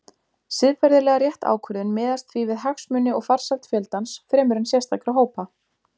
Siðferðilega rétt ákvörðun miðast því við hagsmuni og farsæld fjöldans fremur en sérstakra hópa.